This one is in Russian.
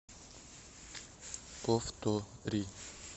повтори